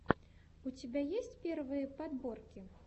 у тебя есть первые подборки